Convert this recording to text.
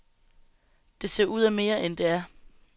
Det ser ud af mere, end det er.